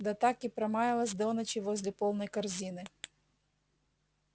да так и промаялась до ночи возле полной корзины